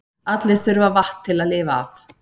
Allir þurfa vatn til að lifa af.